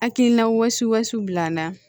Hakilina wɔsi bila na